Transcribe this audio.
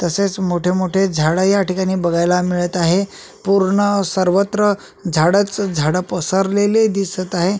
तसेच मोठे मोठे झाड या ठिकाणी बघयला मिळत आहे पूर्ण सर्वत्र झाडच झाड पसरलेले दिसत आहे.